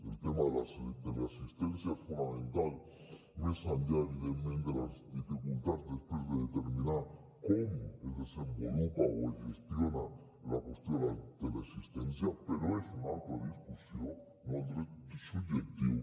el tema de la teleassistència és fonamental més enllà evidentment de les dificultats després de determinar com es desenvolupa o es gestiona la qüestió de la teleassistència però és una altra discussió no el dret subjectiu